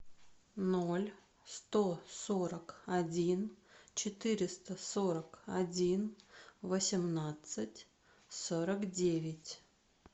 ноль сто сорок один четыреста сорок один восемнадцать сорок девять